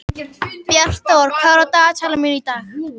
Bjartþór, hvað er á dagatalinu mínu í dag?